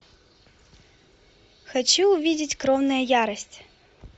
хочу увидеть кровная ярость